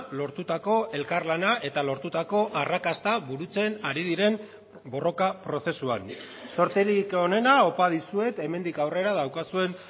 lortutako elkarlana eta lortutako arrakasta burutzen ari diren borroka prozesuan zorterik onena opa dizuet hemendik aurrera daukazuen